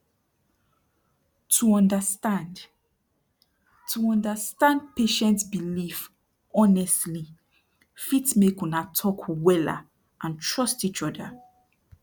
to understand to understand patient belief honestli fit make una talk wella and trust each oda